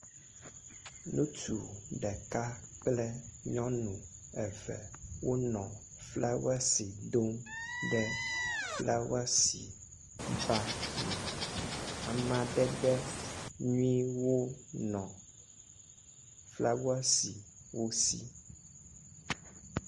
Ŋutsu ɖeka kple nyɔnu eve wonɔ flawesi dom ɖe flawesi ba me. Amadede nyuiwo nɔ flawesi wo si.